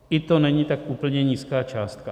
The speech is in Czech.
Ani to není tak úplně nízká částka.